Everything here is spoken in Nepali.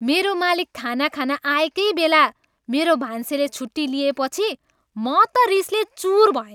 मेरो मालिक खाना खान आएकै बेला मेरो भान्सेले छुट्टी लिएपछि म त रिसले चुर भएँ।